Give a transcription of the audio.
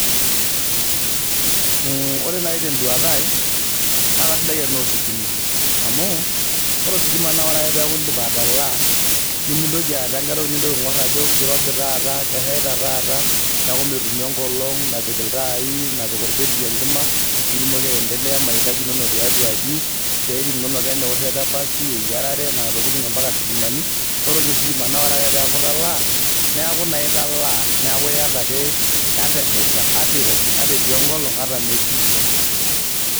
Ore nai teduata ai, na kasidai tenaa ositima. Amu, ore ositima na ore ake peku idip atalaa, nimitoki aata enkae nintoki aing'or ajo kirobi taata, keshaita taata, neeku metumi enkolong napik iltaai napik orbetiri enkima, pitumoki aendelea mahitaji inonok tiatua aji, isiaitin inonok enaa ewoshoto epasi, eyiarare nena tokiting ampaka sitimani, ore nye ositima na ore ake peeku italaa, neeku naa italaa. Neeku iyata ake ata esheita, ata irobi, ata etii enkolong ata metii.